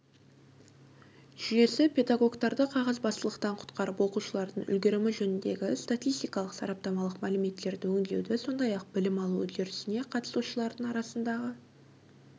жүйесі педагогтарды қағазбастылықтан құтқарып оқушылардың үлгерімі жөніндегі статистикалық-сараптамалық мәліметтерді өңдеуді сондай-ақ білім алу үдерісіне қатысушылардың арасындағы